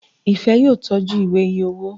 Ifẹ yóò tọjú Ìwé iye owó.